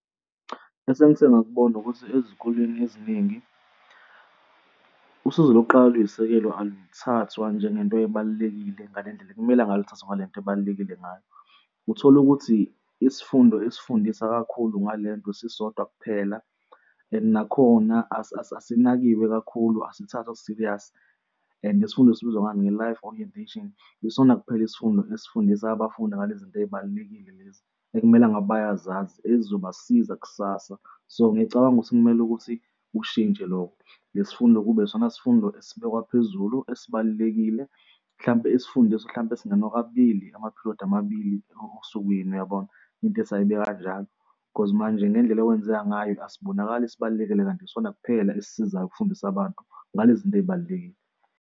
Esengise ngakubona ukuthi, ezikoleni eziningi usizo lokuqala oliyisisekelo, aluthathwa njengento ebalulekile ngale ndlela ekumele ngabe luthathwa ngale nto ebalulekile ngayo. Uthole ukuthi isifundo esifundisa kakhulu ngale nto sisodwa kuphela and nakhona asinakiwe kakhulu asithathwa serious and isifundo esibizwa ngami nge-life orientation. Yisona kuphela isifundo esifundisa abafundi ngale zinto ey'balulekile lezi ekumele ngabe bayazazi ezizobasiza kusasa. So ngiyacabanga ukuthi kumele ukuthi kushintshe loko, lesi fundo kube isona sifundo esibekwa phezulu esibalulekile mhlampe esifundisa hlampe singena kabili ama-period amabili osukwini uyabona into ethi ayibe kanjalo cause manje ngendlela okwenzeka ngayo, asibonakale esibalulekile kanti isona kuphela esifundisa abantu ngalezi nto ezibalulekile.